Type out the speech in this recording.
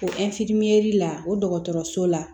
O la o dɔgɔtɔrɔso la